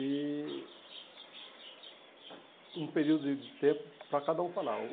E um período de de tempo para cada um falar.